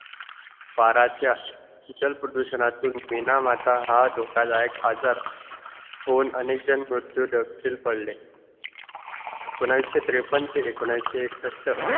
पाराचा जल प्रदूषणतुन मीनामात हा धोकादायक आजार होऊन अनेकजण मृत्यू दक पडले एकोणायांशी तत्रेपन्न ते एकोणयांशी एकशसत